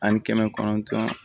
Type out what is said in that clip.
Ani kɛmɛ kɔnɔntɔn